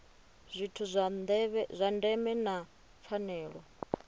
zwithu zwa ndeme na pfanelo